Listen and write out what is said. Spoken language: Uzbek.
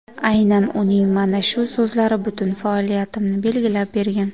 Aynan uning mana shu so‘zlari butun faoliyatimni belgilab bergan”.